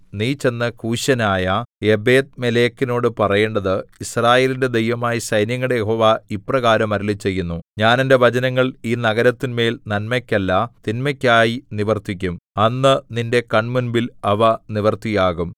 നീ ചെന്ന് കൂശ്യനായ ഏബെദ്മേലെക്കിനോടു പറയേണ്ടത് യിസ്രായേലിന്റെ ദൈവമായ സൈന്യങ്ങളുടെ യഹോവ ഇപ്രകാരം അരുളിച്ചെയ്യുന്നു ഞാൻ എന്റെ വചനങ്ങൾ ഈ നഗരത്തിന്മേൽ നന്മയ്ക്കല്ല തിന്മയ്ക്കായി നിവർത്തിക്കും അന്ന് നിന്റെ കണ്മുമ്പിൽ അവ നിവൃത്തിയാകും